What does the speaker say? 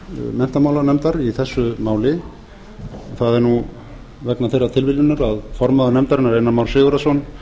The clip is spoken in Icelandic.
menntamálanefndar í þessu máli það er vegna þeirrar tilviljunar að formaður nefndarinnar einar már sigurðarson